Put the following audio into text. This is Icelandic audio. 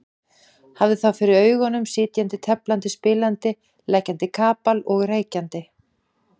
Hafði þá fyrir augunum sitjandi, teflandi, spilandi, leggjandi kapal og reykjandi.